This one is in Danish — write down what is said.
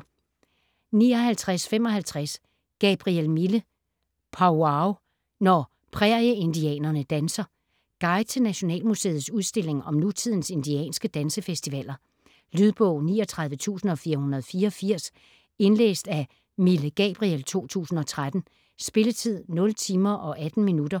59.55 Gabriel, Mille: Powwow - når prærieindianerne danser Guide til Nationalmuseets udstilling om nutidens indianske dansefestivaler. Lydbog 39484 Indlæst af Mille Gabriel, 2013. Spilletid: 0 timer, 18 minutter.